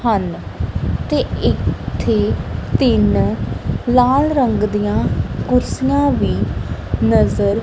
ਹਨ ਤੇ ਇੱਥੇ ਤਿੰਨ ਲਾਲ ਰੰਗ ਦਿਆਂ ਕੁਰਸੀਆਂ ਵੀ ਨਜ਼ਰ--